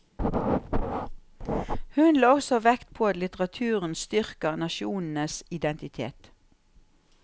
Hun la også vekt på at litteraturen styrker nasjonenes identitet.